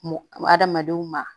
Adamadenw ma